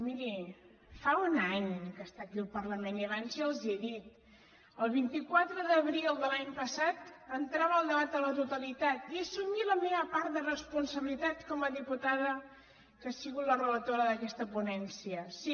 miri fa un any que està aquí al parlament i abans ja els ho he dit el vint quatre d’abril de l’any passat entrava el debat a la totalitat i hi he assumit la meva part de responsabilitat com a diputada que ha sigut la relatora d’aquesta ponència sí